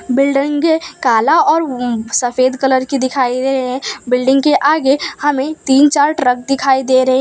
बिल्डंगे काला और उम्म सफेद कलर की दिखाई दे रहे हैं बिल्डिंग के आगे हमें तीन चार ट्रक दिखाई दे रहे हैं।